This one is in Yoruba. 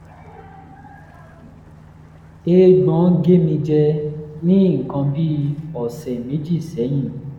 eégbọn gé mi jẹ ní nǹkan bí bí ọ̀sẹ̀ méjì sẹ́yìn